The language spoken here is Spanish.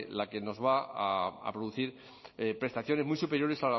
la que nos va a producir prestaciones muy superiores